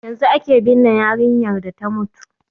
Yanzu aka binne yarinyar da ta mutu